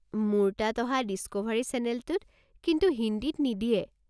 মোৰ তাত অহা ডিস্কোভাৰী চেনেলটোত কিন্তু হিন্দীত নিদিয়ে।